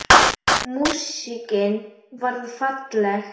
Músíkin varð falleg.